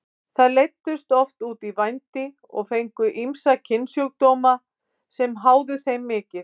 Þær leiddust oft út í vændi og fengu ýmsa kynsjúkdóma sem háðu þeim mikið.